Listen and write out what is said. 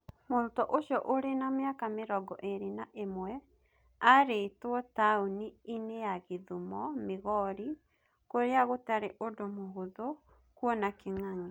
Mũrutwo ũcio ũrĩ na mĩaka mĩrongo ĩĩrĩ na ĩmwe arĩitwo taũni-inĩ ya Gĩthumo, Migori, kũrĩa gũtarĩ ũndũ mũhũthũ kuona kĩng'ang'i.